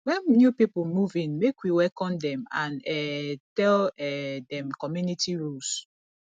when new people move in make we welcome dem and um tell um dem community rules